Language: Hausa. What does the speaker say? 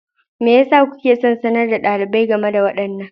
Me yasa kuke son sanar da ɗalibai game da waɗannan?